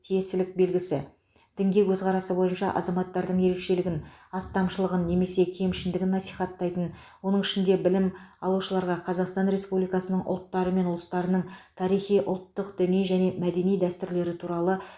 тиесілік белгісі дінге көзқарасы бойынша азаматтардың ерекшелігін астамшылығын немесе кемшіндігін насихаттайтын оның ішінде білім алушыларға қазақстан республикасының ұлттары мен ұлыстарының тарихи ұлттық діни және мәдени дәстүрлері туралы